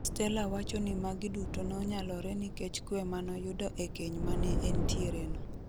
Stella wacho ni magi duto nonyalore nikech kwe manoyudo e keny mane entiere no.